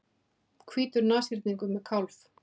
Hvítur nashyrningur með kálf.